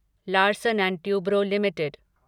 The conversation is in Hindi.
Larsen and Toubro limited